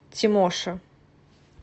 тимоша